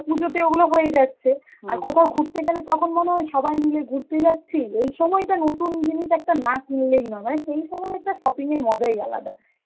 পুজোতে ওইগুলো হয়েই যাচ্ছে, আর কোথাও ঘুরতে গেলে তখন মনে হয় সবাই মিলে ঘুরতে যাচ্ছি, এই সময়টা নতুন জিনিস একটা না কিনলেই নয়, মানে সেই সময় একটা shopping এর মজাই আলাদা.